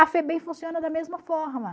A Febem funciona da mesma forma.